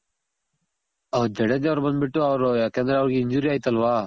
ಜಡೇಜ ಅವ್ರ್ ಬಂದ್ ಬಿಟ್ಟು ಯಾಕಂದ್ರೆ ಅವ್ರಗ್ injury ಆಯ್ತಲ್ವ